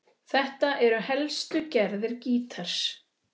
Þetta eru helstu gerðir gítars